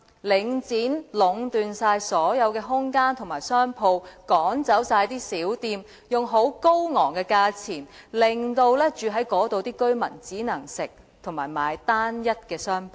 領展已壟斷所有空間及商鋪，把小店趕走，用高昂的價錢出租商鋪，致令居住在那裏的居民只可進食及購買單一的商品。